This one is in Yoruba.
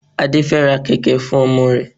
Adé fẹ ra kẹ̀kẹ́ fún ọmọ rẹ̀.